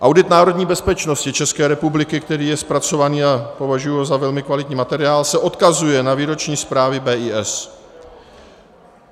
Audit národní bezpečnosti České republiky, který je zpracován, a považuji ho za velmi kvalitní materiál, se odkazuje na výroční zprávy BIS.